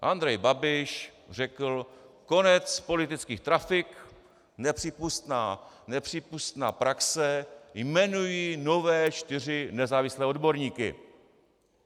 Andrej Babiš řekl: konec politických trafik, nepřípustná praxe, jmenuji nové čtyři nezávislé odborníky.